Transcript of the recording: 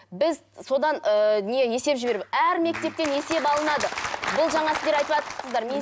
біз содан ыыы не есеп жіберіп әр мектептен есеп алынады бұл жаңа сіздер айтыватсыздар